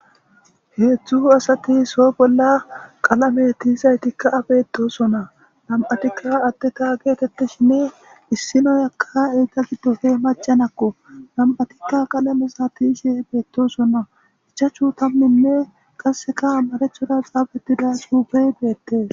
Hezhzhu asati so bolla qallame tiyzayitika an betossona nam'atika addeta getetishine is na'iyaka eta gidoppe macca na'ako nam'atika qallameza tiyishe betossona ichachu tamune qasseka maracera xafettida xuufe bettes.